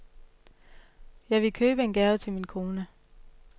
Jeg ville købe en lille gave til min kone.